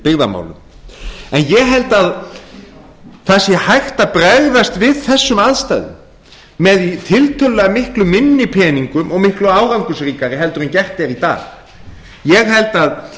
byggðamálum ég held að það sé hægt að bregðast við þessum aðstæðum með tiltölulega miklu minni peningum og miklu árangursríkari heldur en gert er í dag ég held að